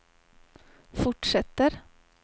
fortsätter